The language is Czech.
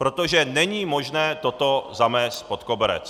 Protože není možné toto zamést pod koberec.